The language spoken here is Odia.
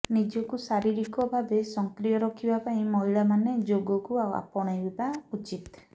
ନିଜକୁ ଶାରୀରିକ ଭାବେ ସକ୍ରିୟ ରଖିବା ପାଇଁ ମହିଳାମାନେ ଯୋଗକୁ ଆପଣେଇବା ଉଚିତ